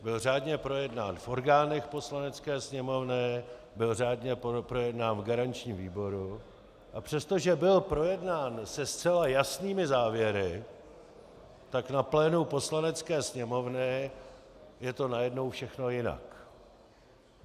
Byl řádně projednán v orgánech Poslanecké sněmovny, byl řádně projednán v garančním výboru, a přestože byl projednán se zcela jasnými závěry, tak na plénu Poslanecké sněmovny je to najednou všechno jinak.